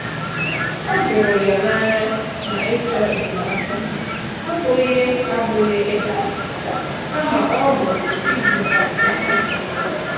Ọ jụụrụ ya n’anya na ịchọ enyemaka abụghị abụghị ịda mba, kama ọ bụ iguzosi ike.